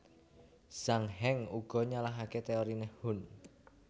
Zhang Heng uga nyalahaké téoriné Hun